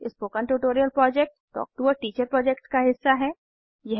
spoken tutorial project talk to a teacher project का हिस्सा है